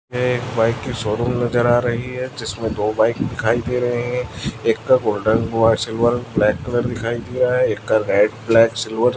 ये एक बाइक की शोरूम नजर आ रही है जिसमे दो बाइक दिखाई दे रहे है एक का गोल्डेन व सिल्वर ब्लैक कलर दिखाई दिया है एक का रेड ब्लैक सिल्वर --